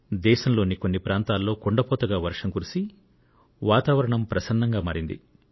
దేశంలోని కొన్ని ప్రాంతాల్లో కుండపోతగా వర్షం కురిసి వాతావరణం ప్రసన్నంగా మారింది